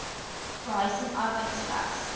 behuising arbeid slegs